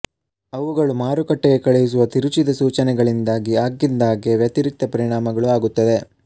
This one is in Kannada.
ಅವುಗಳು ಮಾರುಕಟ್ಟೆಗೆ ಕಳುಹಿಸುವ ತಿರುಚಿದ ಸೂಚನೆಗಳಿಂದಾಗಿ ಆಗಿಂದಾಗ್ಗೆ ವ್ಯತಿರಿಕ್ತ ಪರಿಣಾಮಗಳೂ ಆಗುತ್ತವೆ